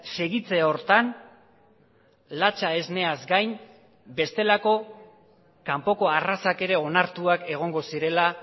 segitze horretan latxa esneaz gain bestelako kanpoko arrazak ere onartuak egongo zirela